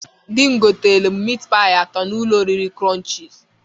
Di m goterem mịt paị atọ n'ụlọ oriri Krọnchịz